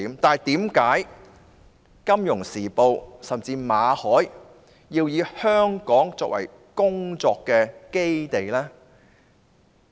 然而，為何《金融時報》甚至馬凱要以香港作為工作基地？